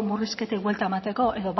murrizketei buelta emateko edo